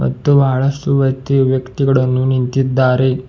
ಮತ್ತು ಬಹಳಷ್ಟು ವ್ಯಕ್ತಿಯು ವ್ಯಕ್ತಿಗಳನ್ನು ನಿಂತಿದ್ದಾರೆ.